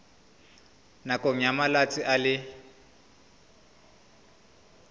nakong ya malatsi a le